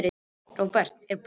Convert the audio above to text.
Róberta, er bolti á mánudaginn?